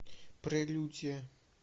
прелюдия